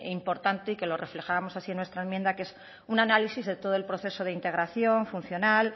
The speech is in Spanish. importante y que lo reflejábamos así en nuestra enmienda que es un análisis de todo el proceso de integración funcional